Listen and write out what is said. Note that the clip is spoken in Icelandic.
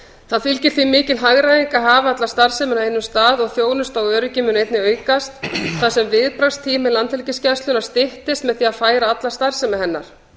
því fylgir mikil hagræðing að hafa alla starfsemina á einum stað og þjónusta og öryggi mun einnig aukast þar sem viðbragðstími landhelgisgæslunnar styttist með því að færa alla starfsemi hennar